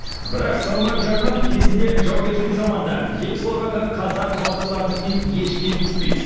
бірақ салмақ жағынан кезінде жаугершілік заманда ел қорғаған қазақ батырларынікінен еш кем түспейді